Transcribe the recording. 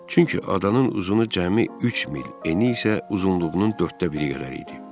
Çünki adanın uzunu cəmi üç mil, eni isə uzunluğunun dörddə biri qədər idi.